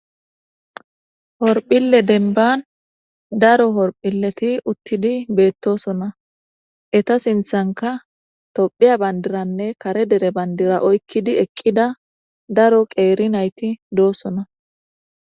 horphille denban daro horphilleti uttidi beettosona eta sinthanka tophiya bandiranne kare dere bandira oykkidi eqqida daro qeeri nayti doossona